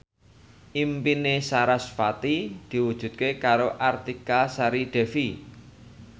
impine sarasvati diwujudke karo Artika Sari Devi